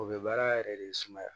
O bɛ baara yɛrɛ de sumaya